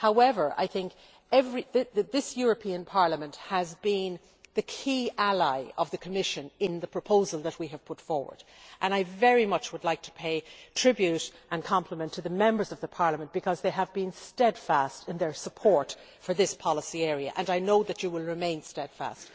However, this Parliament has been the key ally of the Commission on the proposal that we have put forward and I would very much like to pay tribute and compliments to the Members of Parliament because they have been steadfast in their support for this policy area and I know that you will remain steadfast.